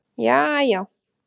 jaajá